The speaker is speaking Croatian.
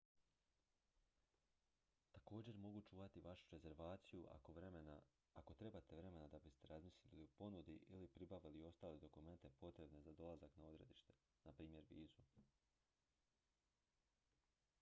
također mogu čuvati vašu rezervaciju ako trebate vremena da biste razmislili o ponudi ili pribavili ostale dokumente potrebne za dolazak na odredište npr. vizu